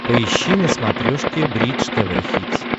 поищи на смотрешке бридж тв хитс